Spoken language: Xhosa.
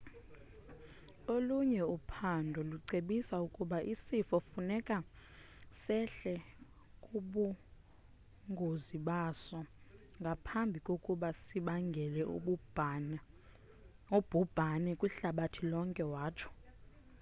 olunye uphando lucebisa ukuba isifo kufuneka sehle kubungozibaso ngaphambi kokuba sibangele ubhubhani kwihlabathi lonke watsho